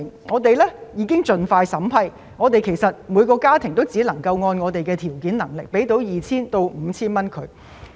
我們已盡快進行審批，但我們只能向每個家庭提供約 2,000 元至 5,000 元的援助。